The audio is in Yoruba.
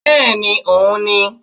Bẹ́ẹ̀ni òun ni